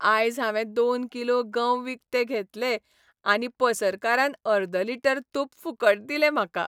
आयज हांवें दोन किलो गंव विकते घेतले आनी पसरकारान अर्द लिटर तूप फुकट दिलें म्हाका .